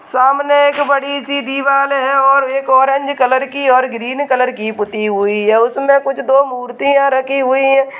सामने एक बड़ी-सी दीवाल है और एक ऑरेंज कलर की और ग्रीन कलर की पुती हुई है उसमे कुछ दो मूर्तियां रखी हुई है।